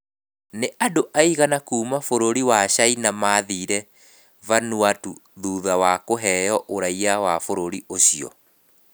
Nĩ andũ aigana a kuuma bũrũri wa Caina maathire Vanuatu thutha wa kũheo ũraiya wa bũrũri ũcio?